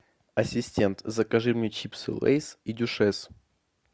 ассистент закажи мне чипсы лейс и дюшес